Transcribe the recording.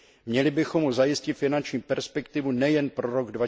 Měli bychom mu zajistit finanční perspektivu nejen pro rok